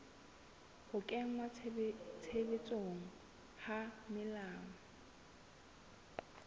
ho kenngwa tshebetsong ha melao